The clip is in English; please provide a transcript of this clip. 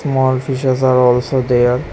Small fishes are also there.